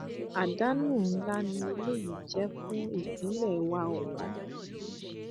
àdánù ńlá ni eléyìí jẹ fún ìpínlẹ wa ọwọn